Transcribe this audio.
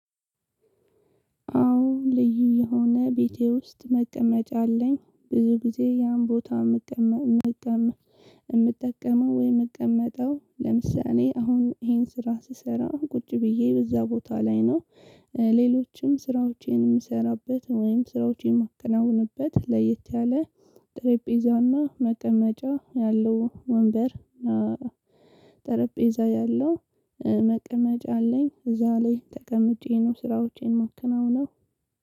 አዎ ልዩ የሆነ ቤቴ ውስጥ መቀመጫ አለኝ ብዙ ጊዜ ያን ቦታ የምጠቀመው ወይ የምቀመጠው ለምሳሌ አሁን ይሄን ስራ ስሰራ ቁጭ ብዬ በዛ ቦታ ላይ ነው። ሌሎችም ስራዎቼን የምሰራበት ወይም ስራዎቼን የማከናውንበት ለየት ያለ ጠረጴዛና መቀመጫ ያለው ወንበር ጠረጴዛ ያለው መቀመጫ አለኝ እዛ ላይ ተቀምጬ ነው ስራዎቼን ማከናውነው።